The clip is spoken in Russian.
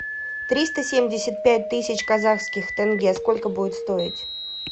триста семьдесят пять тысяч казахских тенге сколько будет стоить